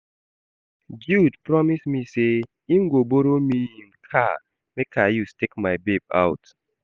Jude promise me say im go borrow me im car make I use take my babe out